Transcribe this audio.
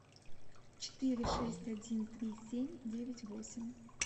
четыре шесть один три семь девять восемь